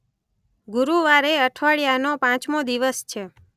ગુરુવાર એ અઠવાડિયાનો પાંચમો દિવસ છે.